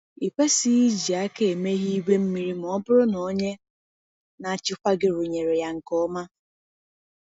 Ị kwesịghị iji aka emeghe igwe mmiri ma ọ bụrụ na onye na-achịkwa gị rụnyere ya nke ọma.